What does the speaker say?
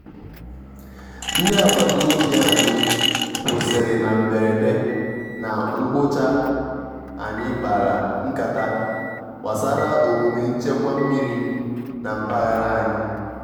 ndí àgbátá òbí ànyị́ kwụ́sị́rị́ ná mbérédé ná ngwụ́chá ànyị́ kpárá nkátá gbásárá òmúmé nchékwà mmírí ná mpághárá ànyị́.